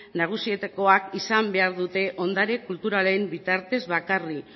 nagusietakoak izan behar dute ondare kulturalen bitartez bakarrik